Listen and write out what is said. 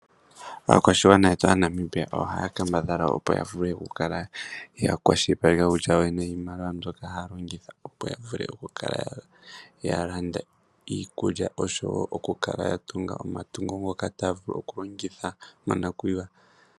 Aakwashigwana yetu Aanamibia ohaya kambadhala opo ya vule oku kala ya kwashilipaleka yoyene niimaliwa mbyoka haya longitha, opo ya vule oku kala ya landa iikulya, oshowo oku kala ya tunga omatungo ngoka taya vulu oku kala ya longitha monakuyiwa.